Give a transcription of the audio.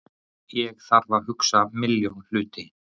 Ég þarf að hugsa milljón hluti.